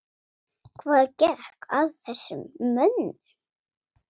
Hvað gekk að þessum mönnum?